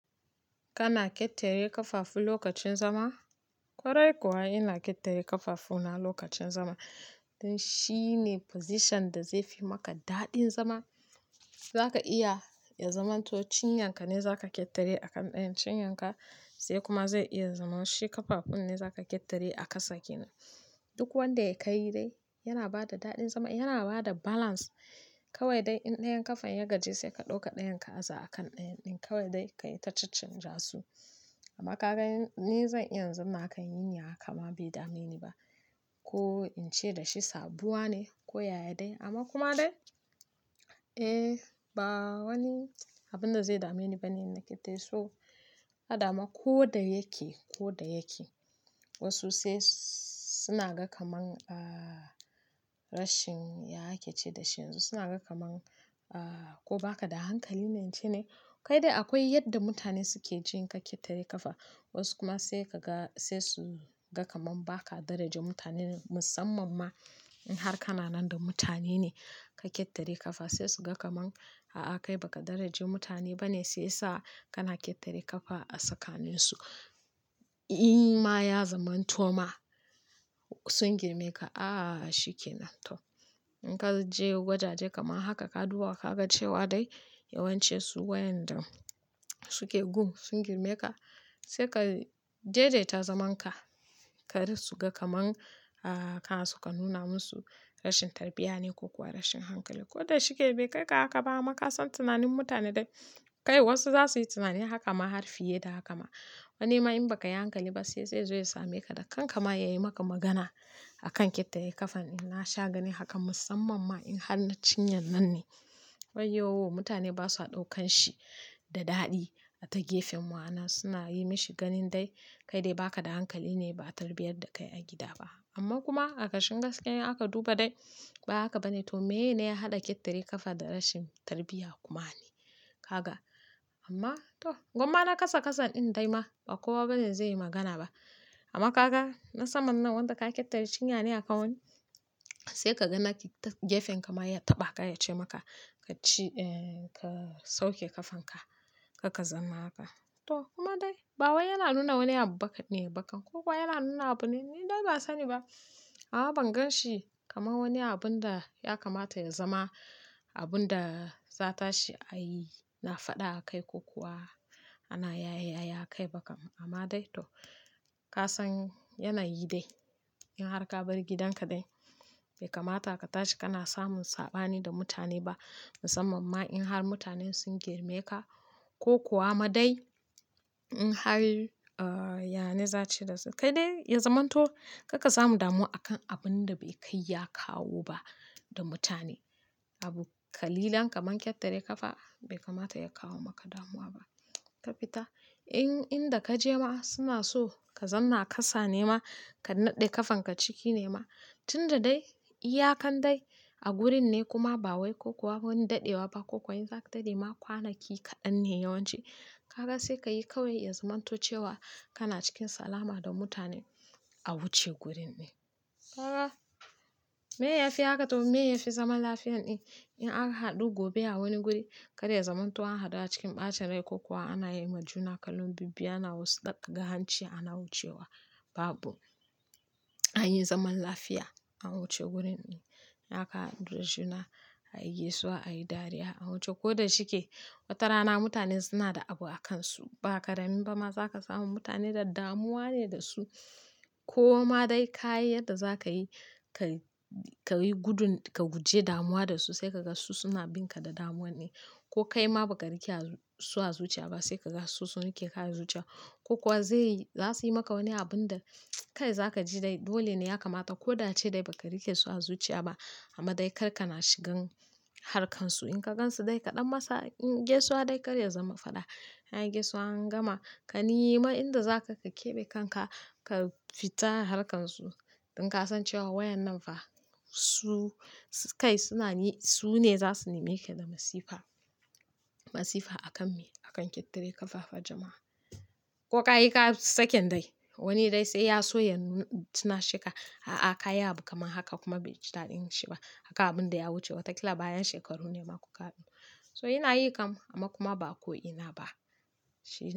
Kana ƙetare ƙafafu lokacin zama, ƙwarai kuwa ina ƙetare ƙafafu na lokacin zama. Shi ne position da zai fi maka daɗin zama. Zaka iya ya zamanto cinyanka ne za ka ƙetare a kan ɗayan cinyanka sai kuma zai iya zama shi ƙafafun ne za ka ƙetare a ƙasa kenan. Duk wanda ya kai dai yana bada daɗin zama, yana bada balance kawai dai in ɗayan ƙafan ya gaji sai ka ɗauka ɗayan ka aza a kan ɗayan ɗin kawai dai ka yi ta caccanja su. Amma ka ga ni zan iya zama a kan yinyanka ma bai dame ni ba ko in ce da shi saduwa ne ko yaya dai amma kuma dai eh ba wani abunda zai dame ni bane that is all. A da ma ko da yake ko da yake wasu sai suna ga kaman rashin ya ake ce dashi yanzu suna ga kaman ko baka da hankali na ce ne? Kai dai akwai yadda mutane suke jin ka ƙetare ƙafa wasu kuma sai ka ga sai su ga kaman ba ka daraja mutane musamman ma in har kana nan da mutane ne ka ƙetare ƙafa sai su ga kaman a a kai baka daraja mutane bane sai sa kana ƙetare ƙafa a tsakanin su. In ma ya zamanto ma sun girme ka, a shikenan to in ka je wajaje kaman haka ka duba ka ga cewa dai yawancinsu wayanda suke gun sun girme ka sai ka daidaita zamanka. Kar su ga kaman kana so ka nuna musu rashin tarbiyya ne ko kuwa rashin hankali. Ko da shike bai kai ka haka ba amma ka san tunanin mutane dai kai wasu zasu yi tunani haka ma har fiye da haka ma. Wani ma in baka yi hankali ba sai sai zo ya same ka da kanka ma ya yi maka magana a kan ƙetare ƙafan. Na sha gani haka musamman ma in har na cinyan nan ne. Wai yo mutane ba su ɗaukan shi da daɗi a ta gefen ma'ana suna yi mi shi ganin dai kai dai ba ka da hankali ne ba tarbiyyar da kai a gida ba. Amma kuma a ƙashin gaskiya in aka duba dai ba haka bane to meye ne ya haɗa ƙetare ƙafa da rashin tarbiyya kuma ne? Ka ga amma to gwamma na ƙasa ƙasa ɗin dai ma ba kowa bane zai yi magana ba. Amma ka ga na saman nan wanda ka ƙetare cinya ne a kawai sai ka ga na gefen ka ma ya taɓa ka ya ce maka ka sauke ƙafanka kar ka zauna haka. To kuma dai ba wani yana nuna wani abu ba ka ne ko ko ba yana nuna abune? Ni dai ban sani ba. A a ban gan shi kaman wani abun da ya kamata ya zama abun da za ta shi a yi na faɗa a kai ko kuwa ana yaye-yaye a kai ba kam. Amma dai to ka san yanayi dai in har ka bar gidanka dai bai kamata ka tashi kana samun saɓani da mutane ba musamman ma in har mutanen sun girme ka ko kuwa ma dai in har ya ne za a ce da su kai dai ya zamanto karka samu damuwa a kan abun da bai kai ya kawo ba da mutane. Abu ƙalilan kaman ƙetare ƙafa bai kamata ya kawo maka damuwa ba. Ka fita in inda ka je ma suna so ka zamna a ƙasa ne ma ka naɗe ƙafanka ciki ne ma tunda dai iyakan dai a gurin ne kuma ba wai ko kuwa wani daɗewa ba ko kuwa in za a tare ma kwanaki kaɗan ne yawanci. Ka ga sai ka yi kawai ya zamanto cewa kana cikin salama da mutane a wuce gurin ne. Ka ga meye ya fi haka to meye ya fi zaman lafiya ɗin in an haɗu gobe a wani guri kar ya zamanto an haɗu a cikin ɓacin rai ko kuwa ana yi ma juna kallon bibbiyu ana wasu ɗaɗɗaga hanci ana wucewa babu an yi zaman lafiya an wuce gurin ne. In aka ga juna a yi gaisuwa a yi dariya a wuce ko da shike watarana mutane suna da abu a kansu ba ka damu ba ma zaka samu mutane da damuwa ne da su ko ma dai ka yi yadda za ka yi kai ka yi gudun ka guje damuwa da su sai ka ga su suna bin ka da damuwan ne ko kai ma baka rike su a zuciya ba sai ka ga sun riƙe ka a zuciya ko kuwa zai zasu yi maka wani abun da kai za ka ji dai dole ne ya kamata ko da ace dai baka riƙe su a zuciya ba amma dai karka na shigan harkansu. In ka gansu dai ka ɗan masa in gaisuwa dai kar ya zama faɗa. An yi gaisuwa an gama ka nema in da za ka ka keɓe kanka ka fita harkansu. In ka san cewa wa'innan fa su kai suna su ne za su neme ka da masifa. Masifa a kan me? A kan ƙetare ƙafafa jama'a. Ko ka yi ka saken dai wani dai sai ya so ya nu tunasheka a a ka yi abu kaman haka kuma bai ji daɗin shi ba akan abun da ya wuce wataƙila bayan shekaru ne ma ku ka. So yana yi kam amma kuma ba ko ina ba shi.